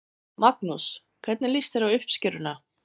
Magnús: Hvernig líst þér á uppskeruna?